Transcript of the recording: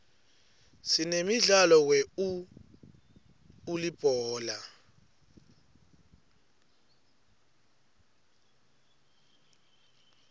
sinemdlalo we uulibhola